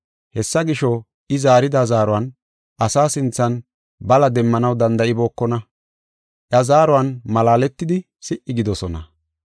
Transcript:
Hessa gisho, I zaarida zaaruwan asaa sinthan bala demmanaw danda7ibookona. Iya zaaruwan malaaletidi si77i gidoosona.